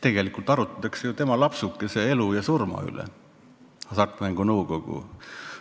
Ometi arutatakse tema lapsukese, Hasartmängumaksu Nõukogu elu ja surma üle.